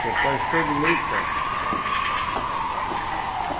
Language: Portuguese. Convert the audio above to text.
Que é quase todo em meio tom.